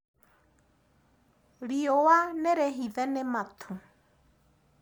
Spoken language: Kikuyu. Riũa nĩrĩhithe nĩ matu.